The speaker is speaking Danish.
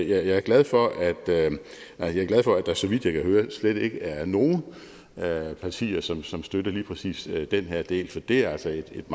er glad for at der så vidt jeg kan høre slet ikke er nogen partier som som støtter lige præcis den her del for det er altså et